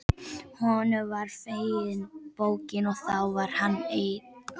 Honum var fengin bókin og þá var hann einn.